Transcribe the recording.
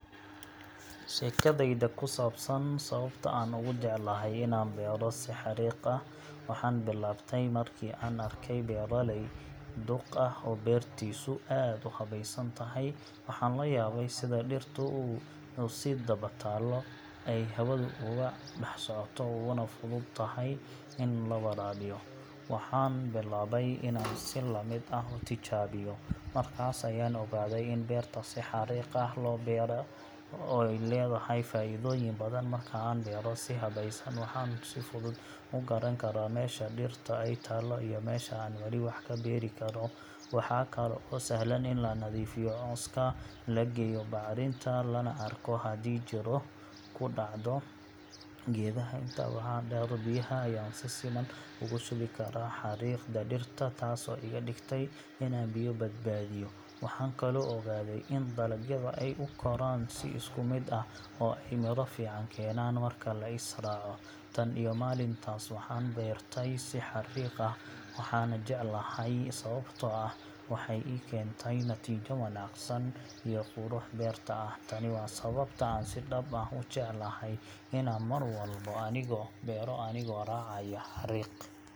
Sheekadayda ku saabsan sababta aan ugu jeclahay inaan beero si xarriiq ah waxay bilaabatay markii aan arkay beeraley duq ah oo beertiisu aad u habaysan tahay. Waxaan la yaabay sida dhirtu isu daba taallo, ay hawadu ugu dhex socoto, uguna fudud tahay in la waraabiyo. Waxaan bilaabay inaan si la mid ah u tijaabiyo, markaas ayaan ogaaday in beerta si xarriiq ah loo beero ay leedahay faa’iidooyin badan. Marka aan beero si habaysan, waxaan si fudud u garan karaa meesha dhirta ay taallo iyo meesha aan wali wax ka beeri karo. Waxaa kale oo sahlan in la nadiifiyo cawska, la geeyo bacrinta, lana arko haddii jirro ku dhacdo geedaha. Intaa waxaa dheer, biyaha ayaan si siman ugu shubi karaa xarriiqda dhirta taasoo iga dhigtay inaan biyo badbaadiyo. Waxaan kaloo ogaaday in dalagyada ay u koraan si isku mid ah oo ay midho fiican keenaan marka la is raaco. Tan iyo maalintaas, waxaan beertay si xarriiq ah, waana jeclahay sababtoo ah waxay ii keentay natiijo wanaagsan iyo qurux beerta ah. Tani waa sababta aan si dhab ah u jeclahay inaan mar walba beero anigoo raacaya xarriiq.